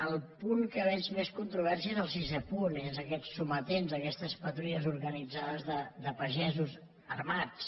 el punt en què veig més controvèrsies és el sisè punt són aquests sometents aquestes patrulles organitzades de pagesos armats